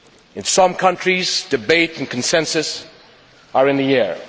In some countries debate and consensus are in the air.